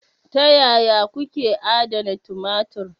Ta yaya kuke adana tumatir?